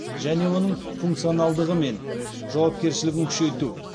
және оның функционалдығы мен жауапкершілігін күшейту